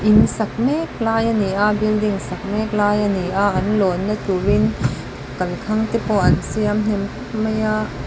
in sak mek lai ani a building sak mek lai ani a an lawnna turin kalkhang te pawh an siam hnem khawmp mai a.